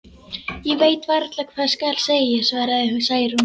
Ég veit varla hvað skal segja, svaraði Særún.